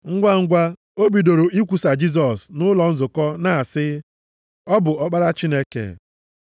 Ngwangwa, o bidoro ikwusa Jisọs nʼụlọ nzukọ na-asị, Ọ bụ Ọkpara Chineke.